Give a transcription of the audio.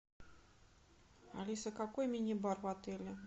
алиса какой мини бар в отеле